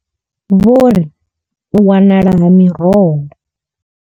Vho ri u wanala ha miroho.